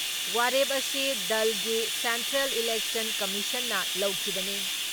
ꯋꯥꯔꯦꯞ ꯑꯁꯤ ꯗꯜꯒꯤ ꯁꯦꯟꯇ꯭ꯔꯦꯜ ꯏꯂꯦꯛꯁꯟ ꯀꯝꯃꯤꯁꯟꯅ ꯂꯧꯈꯤꯕꯅꯤ ꯫